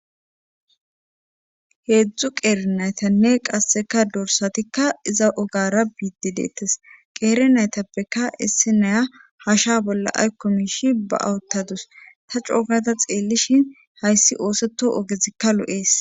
Heedzdzu qeere naytanne qasseka dorsatikka iza ogara biidi deettes qeere naytappeka issi naya hasha bolla aykko miishi ba awuttadus ta coogata xeellishin hayssi ooseto ogezikka lo7ees.